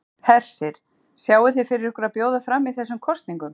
Hersir: Sjáið þið fyrir ykkur að bjóða fram í þessum kosningum?